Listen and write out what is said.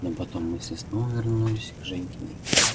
но потом мысли снова вернулись к женькиной